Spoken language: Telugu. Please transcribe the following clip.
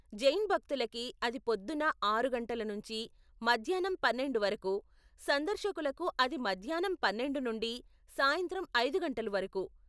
జైన్ భక్తులకి అది పొద్దున్న ఆరు గంటలు నుంచి మధ్యాన్నం పన్నెండు వరకు, సందర్శకులకు అది మధ్యాన్నం పన్నెండు నుండి సాయంత్రం ఐదు గంటలు వరకు.